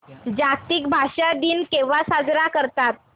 जागतिक भाषा दिन केव्हा साजरा करतात